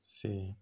Se